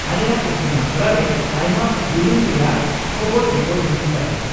-ᱟᱞᱮᱭᱟᱜ ᱤᱛᱩᱱᱟᱥᱲᱟ ᱨᱮ ᱟᱭᱢᱟ ᱵᱩᱞᱤᱝ ᱨᱮᱭᱟᱜ ᱠᱷᱚᱵᱚᱨ ᱨᱤᱯᱳᱴ ᱦᱩᱭᱩᱜ ᱠᱟᱱᱟ ᱾